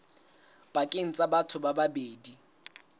pakeng tsa batho ba babedi